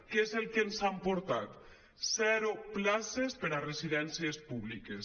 què és el que ens han portat zero places per a residències públiques